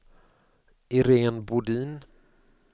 Iréne Bodin